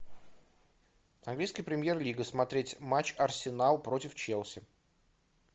английская премьер лига смотреть матч арсенал против челси